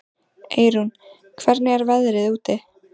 Eyrún, hvernig er veðrið úti?